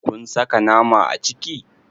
Kun saka nama a ciki?